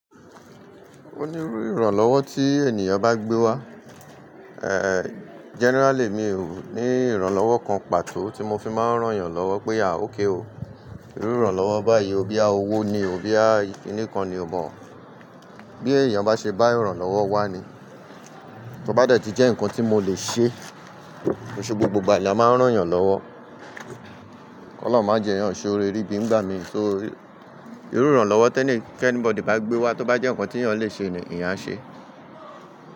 Ó ní rú ìrànlọ́wọ́ tí ènìyàn bá gbé wá, eh generally mi ò ní ìrànlọ́wọ́ kan pàtó tí mo fi máa ń rán ẹ̀yàn lọ́wọ́ pé à ókè o. Ìrú ìrànlọ́wọ́ báyìí boyaí owó ni, bòya kìní kan ni, o mọ̀ ọ́n. Bí èèyàn bá ṣe bá ìrànlọ́wọ́ wá ni, tó bá dẹ̀ ti jẹ́ nǹkan tí mo lè ṣe, loṣe gbogbo ìgbà ni eyan máa ń rán ẹ̀yàn lọ́wọ́. Ọlọ́run máa jẹ ẹ̀yàn ṣe oore ri bí ni igbà mí ṣo iru. Ìrú ìrànlọ́wọ́ tí anybody bá gbé wá tó bá jẹ́ nǹkan tí èèyàn lè ṣe ni eyá a ṣe.